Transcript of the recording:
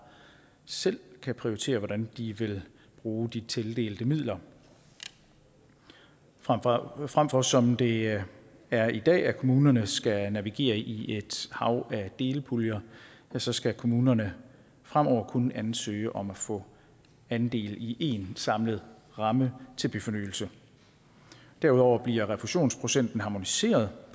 selv kan prioritere hvordan de vil bruge de tildelte midler frem for frem for som det er i dag at kommunerne skal navigere i et hav af delpuljer ja så skal kommunerne fremover kun ansøge om at få andel i én samlet ramme til byfornyelse derudover bliver refusionsprocenten harmoniseret